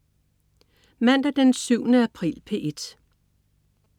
Mandag den 7. april - P1: